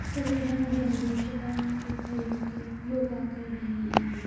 सभी रंग-बिरंगे चटाइयां पे खड़े होकर योगा कर रही हैं।